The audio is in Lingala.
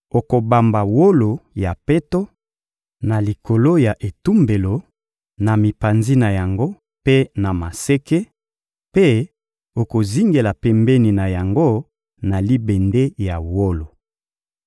Okobamba wolo ya peto na likolo ya etumbelo, na mipanzi na yango mpe na maseke; mpe okozingela pembeni na yango na libende ya wolo.